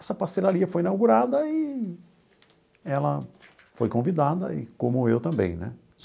Essa pastelaria foi inaugurada e ela foi convidada, e como eu também né.